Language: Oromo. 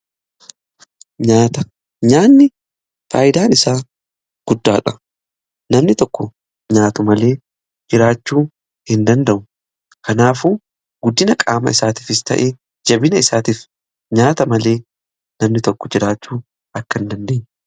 Nyaanni faayidaan isaa guddaadha. Namni tokko nyaatu malee jiraachuu hin danda'u. Kanaafuu guddina qaama isaatiifis ta'ee jabina isaatiif nyaata malee namni tokko jiraachuu akka hin dandeenyedha.